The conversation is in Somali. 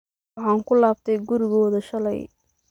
Waxan kulabtey kurigodha shaley.